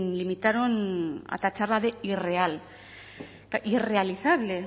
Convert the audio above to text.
limitaron a tacharla de irreal irrealizable